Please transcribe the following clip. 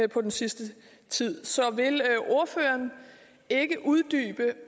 den sidste tid så vil ordføreren ikke uddybe